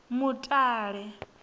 mutale